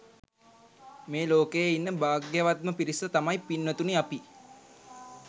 මේ ලෝකයේ ඉන්න භාග්‍යවත්ම පිරිස තමයි පින්වතුනි අපි.